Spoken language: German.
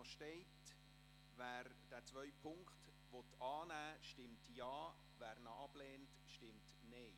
Wer Punkt 2 annehmen will, stimmt Ja, wer ihn ablehnt, stimmt Nein.